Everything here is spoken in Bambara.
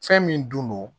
Fɛn min dun